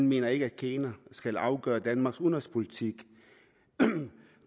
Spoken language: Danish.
mener at kina skal afgøre danmarks udenrigspolitik